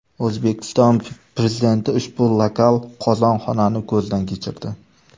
O‘zbekiston Prezidenti ushbu lokal qozonxonani ko‘zdan kechirdi.